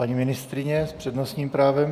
Paní ministryně s přednostním právem.